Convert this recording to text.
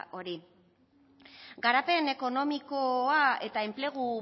hori garapen ekonomikoa eta enplegu